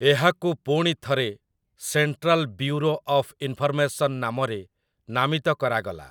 ଏହାକୁ ପୁଣି ଥରେ ସେଣ୍ଟ୍ରାଲ୍ ବ୍ୟୁରୋ ଅଫ୍ ଇନ୍‌ଫର୍‌ମେସନ୍ ନାମରେ ନାମିତ କରାଗଲା ।